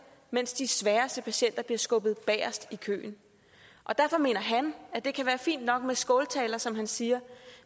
mens de sværeste patienter bliver skubbet bagest i køen derfor mener han at det kan være fint nok med skåltaler som han siger